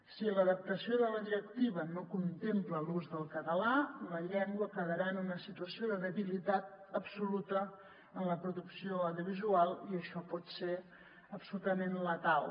si l’adaptació de la directiva no contempla l’ús del català la llengua quedarà en una situació de debilitat absoluta en la producció audiovisual i això pot ser absolutament letal